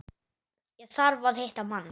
Ég þarf að hitta mann.